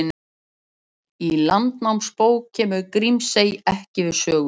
Í Landnámabók kemur Grímsey ekki við sögu.